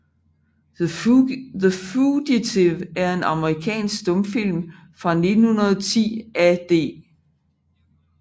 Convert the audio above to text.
The Fugitive er en amerikansk stumfilm fra 1910 af D